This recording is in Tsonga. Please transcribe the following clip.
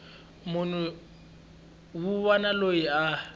munhu wun wana loyi a